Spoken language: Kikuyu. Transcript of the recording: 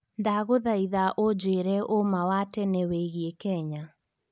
ndagũthaĩtha ũjire ũma wa tene wĩigie Kenya